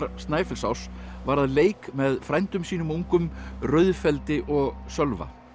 Snæfellsáss var að leik með frændum sínum ungum og Sölva